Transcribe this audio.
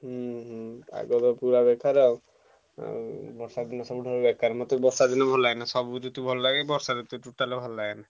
ହୁଁ ହୁଁ ପାଗ ଟା ପୁରା ବେକାର ଆଉ ଆଉ ବର୍ଷା ଦିନ ସବୁଠାରୁ ପୁରା ବେକାର ମତେ ବର୍ଷା ଦିନ ଭଲଲାଗେନା ସବୁ ଋତୁ ଭଲଲାଗେ ବର୍ଷାଋତୁ totally ଭଲଲାଗେନି।